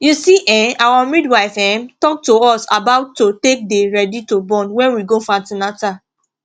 you see[um]our midwife ehm talk to us about to take dey ready to born wen we go for an ten atal